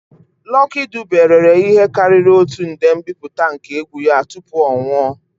Lucky Dube rere ihe karịrị otu nde mbipụta nke egwu ya tupu ọ nwụọ.